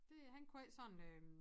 Det han kunne ikke sådan øh